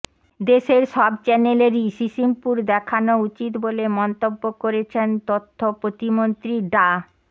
দেশের সব চ্যানেলেরই সিসিমপুর দেখানো উচিত বলে মন্তব্য করেছেন তথ্য প্রতিমন্ত্রী ডা